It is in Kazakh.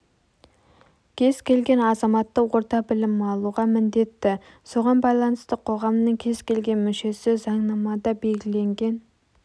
кез келген азаматы орта білім алуға міндетті соған байланысты қоғамның кез келген мүшесі заңнамада белгіленген